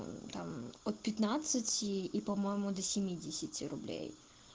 там от пятнадцати и по-моему до семидесяти рублей